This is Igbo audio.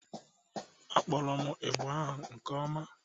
Akpọrọ m ịgbà ahụ nke ọma